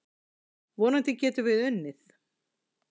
Vonandi getum við unnið.